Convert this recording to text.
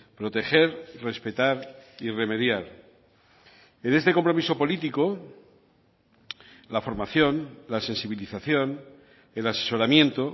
proteger respetar y remediar en este compromiso político la formación la sensibilización el asesoramiento